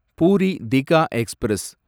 puri Digha express